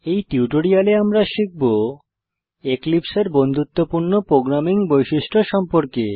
এই টিউটোরিয়ালে আমরা শিখব এক্লিপসে এর বন্ধুত্বপূর্ণ প্রোগ্রামিং বৈশিষ্ট্য সম্পর্কে